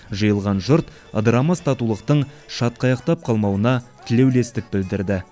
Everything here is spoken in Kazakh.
жиылған жұрт ыдырамас татулықтың шатқаяқтап қалмауына тілеулестік білдірді